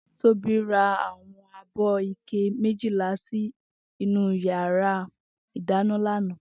Tobi rá áwòn ábò iké méjilá si inú iyàrá idàná làná